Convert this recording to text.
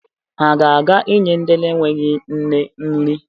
Ha ga-aga inye ndị enweghi nne nri.